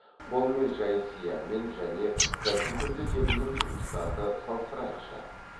қолмен жай сиямен және компьютерде терілген жұмыстарды салыстырайықшы